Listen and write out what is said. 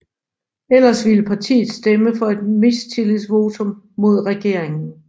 Ellers ville partiet stemme for et mistillidsvotum mod regeringen